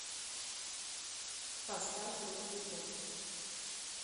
поставь русский поп